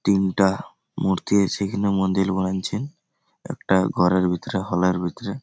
তিনটা মূর্তি এসে এইখানে মন্দিরগুলাই ছে একটা ঘরের ভিতরে হল এর ভিতরে।